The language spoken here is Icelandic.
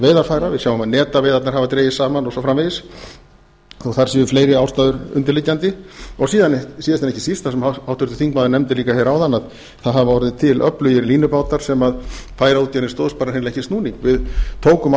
veiðarfæra við sjáum að netaveiðarnar hafa dregist saman og svo framvegis þó að þar séu fleiri ástæður undirliggjandi síðast en ekki síst það sem háttvirtur þingmaður nefndi líka hér áðan að það hafa orðið til öflugir línubátar sem færaútgerðin stóðst bara hreinlega ekki snúning við tókum